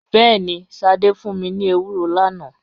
Bẹẹni, Sade fun mi ni ewuro lana.